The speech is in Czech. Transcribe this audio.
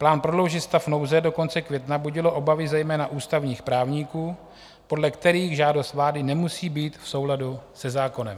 Plán prodloužit stav nouze do konce května budil obavy zejména ústavních právníků, podle kterých žádost vlády nemusí být v souladu se zákonem.